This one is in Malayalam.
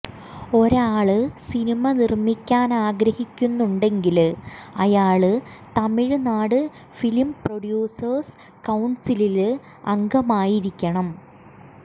ഒരാള് സിനിമ നിര്മ്മിക്കാനാഗ്രഹിക്കുന്നുണ്ടെങ്കില് അയാള് തമിഴ് നാട് ഫിലിം പ്രൊഡ്യൂസേഴ്സ് കൌണ്സിലില് അംഗമായിരിക്കണം